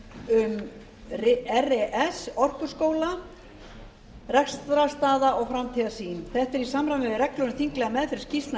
um res orkuskóli rekstrarstaða framtíðarsýn þetta er í samræmi við reglur um þinglega meðferð skýrslna